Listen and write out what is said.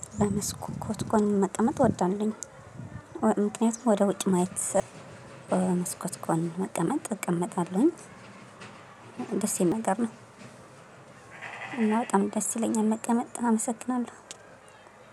መስኮ ኮት ጎን መቀመጥ እወዳለሁኝ። ምክንያቱም ወደ ውጭ ማየት መስኮት ጎን መቀመጥ እቀመጣለሁኝ። ደስ የሚል ነገር እና በጣም ደስ ይለኛል መቀመጥ አመሰግናለሁ።